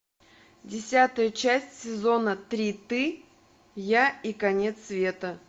десятая часть сезона три ты я и конец света